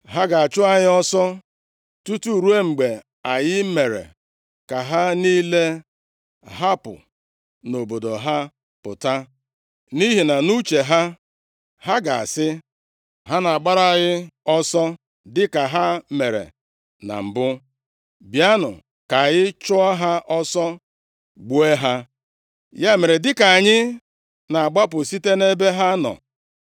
Ha ga-achụ anyị ọsọ, tutu ruo mgbe anyị mere ka ha niile hapụ nʼobodo ha pụta. Nʼihi nʼuche ha, ha ga-asị, ‘Ha na-agbara anyị ọsọ dịka ha mere na mbụ, bịanụ ka anyị chụọ ha ọsọ gbuo ha.’ Ya mere, dịka anyị na-agbapụ site nʼebe ha nọ,